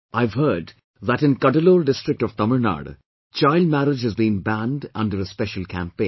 I have heard that in Cuddalore district of Tamil Nadu, child marriage has been banned under a special campaign